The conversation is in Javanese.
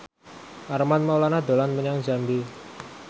Armand Maulana dolan menyang Jambi